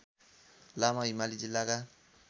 लामा हिमाली जिल्लाका